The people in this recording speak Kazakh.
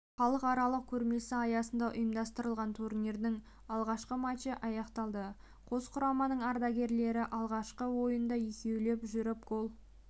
халықаралық көрмесі аясында ұйымдастырылған турнирінің алғашқы матчы аяқталды қос құраманың ардагерлері алғашқы ойында екеулеп жүріп гол